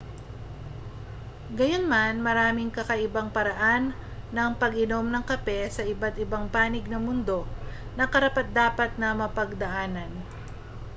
gayunman maraming kakaibang paraan ng pag-inom ng kape sa iba't ibang panig ng mundo na karapat-dapat na mapagdaanan